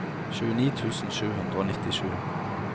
tjueni tusen sju hundre og nittisju